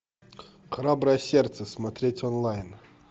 храброе сердце смотреть онлайн